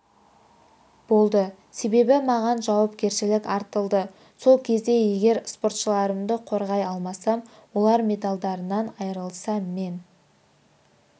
болды себебі маған жауапкершілік артылды сол кезде егер споршыларымды қорғай алмасам олар медальдарынан айырылса мен